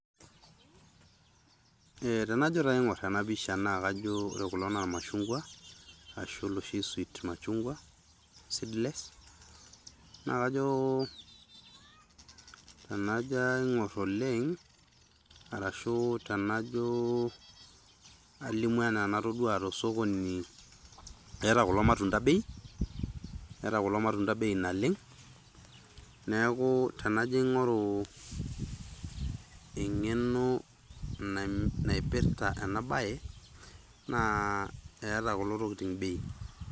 Ee tenajo taa aing'or ena pisha naa kajo ore kulo naa irmashung'wa ashu iloshi sweet machung'wa seedless, naa kajo tenajo aing'or oleng' arashu tenajo alimu enaa enatoduo to osokoni, eeta kulo matunda bei, eeta kulo matunda bei naleng'. Neeku tenajo aing'oru eng'eno naim naipirta ena baye naa eeta kulo tokitin bei.